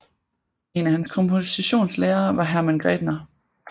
En af hans kompositionslærere var Hermann Grädener